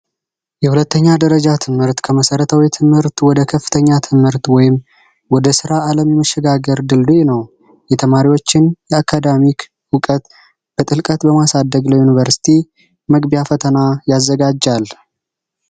የሁለተኛ ደረጃ ትምህርት ከመሰረታዊ ትምህርት ወደ ከፍተኛ ትምህርት ወይም ወደ ስራ ለመሸጋገር ድልድይ ነው ።የተማሪዎችን የአካዳሚክ ዕውቀት ጥልቀት ለማሳደግ ለዩንቨርስቲ መግቢያ ፈተና ያዘጋጃል።